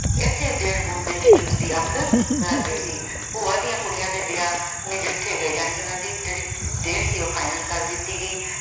ਇਸੇ ਉਧੇੜ-ਬੁਣ ਵਿੱਚ ਉਸਦੀ ਅੱਖ ਲੱਗ ਗਈ ਸੀ, ਭੂਆ ਦੀਆਂ ਕੁੜੀਆਂ ਦੇ ਵਿਆਹ ਨਿਜਿੱਠੇ ਗਏ ਜਾਣੀ ਕਿ ਉਹਨਾਂ ਦੀ ਤਰੀ date ਸੀ ਉਹ final ਕਰ ਦਿੱਤੀ ਗਈ।